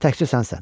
Təkcə sənsən.